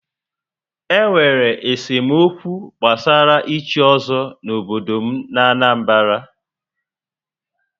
Enwere esemokwu gbasara íchí ọ́zọ́ n'obodo m n'Anambra